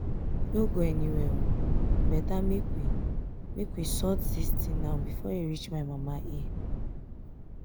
no go anywhere e better make we make we sort dis thing now before e reach my mama ear